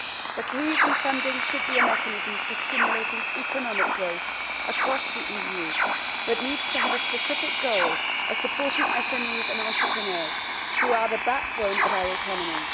The cohesion funding should be a mechanism for stimulating economic growth across the EU, but needs to have a specific goal as supporting SMEs and entrepreneurs who are the backbone of our economy.